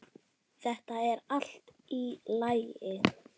Þetta er allt í lagi.